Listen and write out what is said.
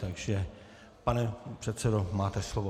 Takže pane předsedo, máte slovo.